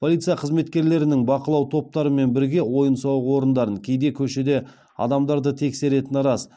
полиция қызметкерлерінің бақылау топтарымен бірге ойын сауық орындарын кейде көшеде адамдарды тексеретіні рас